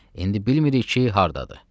İndi bilmirik ki, hardadır.